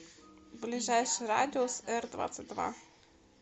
ближайший радиус эр двадцать два